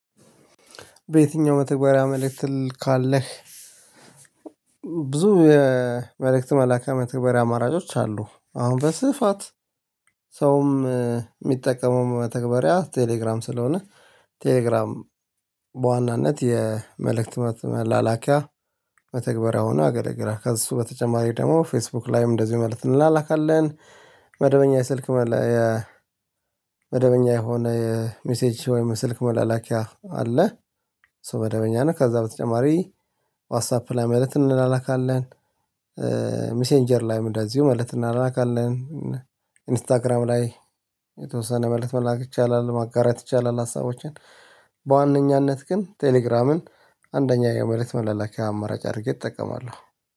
በየትኛው መተግበሪያ መልእክት ትልካለህ? ብዙ የመልእክት መላኪያ መተግበሪያ አማራጮች አሉ አሁን በስፋት ሰውም የሚጠቀመው መተግበሪያ ቴሌግራም ስለሆነ ቴሌግራም በዋናነት የመልእክት መላላኪያ መተግበሪያ ሆኖ ያገልግላል። ከእሱ በተጨማሪ ደግሞ ፌስቡክ ላይም እንደዚሁ መልእክት እንላላካለን። መደበኛ ስልክ መላኪያ መደበኛ የሆነ የሚሴጅ ወይም ስልክ መላላኪያ አለ። እሱ መደበኛ ነው ከዛ በተጨማሪ ዋትሳፕ ላይ መልእክት እንላላካለን። ሚሴንጀር ላይም እንደዚሁ መልእክት እንላላካለን። ኢንስታግራም ላይ የተወሰነ መልእክት መላላክ ይቻላል ማጋራት ይቻላል። ሀሳቦችን በዋነኛነት ግን ቴሌግራምን አንደኛ የመልክት መላላኪያ አመራጭ አድርጌ እጠቀማለሁ